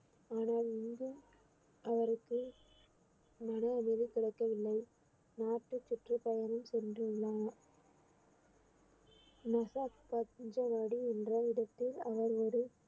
ஆனால் இங்கு அவருக்கு மன அமைதி கிடைக்கவில்லை நாட்டு சுற்றுப்பயணம் சென்றுள்ளார் முசாக் என்ற இடத்தில் அவர் ஒரு